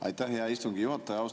Aitäh, hea istungi juhataja!